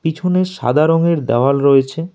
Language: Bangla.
পিছনে সাদা রঙের দাওয়াল রয়েছে।